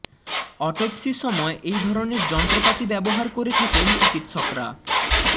অটপ্সির সময় এই ধরণের যন্ত্রপাতি ব্যবহার করে থাকেন চিকিৎসকরা